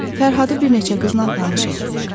Fərhadı bir neçə qızla tanış etdilər.